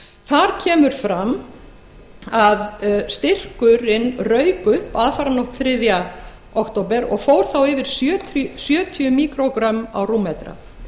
þar kemur fram að styrkurinn rauk upp aðfaranótt þriðja október og fór þá yfir sjötíu míkrógrömm í rúmmetra